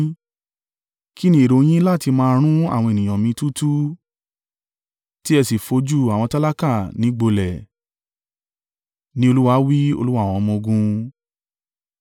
Kín ni èrò yín láti máa run àwọn ènìyàn mi túútúú tí ẹ sì fojú àwọn tálákà ni gbolẹ̀?” ni Olúwa wí, Olúwa àwọn ọmọ-ogun.